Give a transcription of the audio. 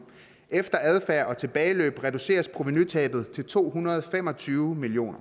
efter adfærd og tilbageløb reduceres provenutabet til to hundrede og fem og tyve million